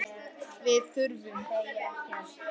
Við þurfum að vera sanngjörn með þessa hluti.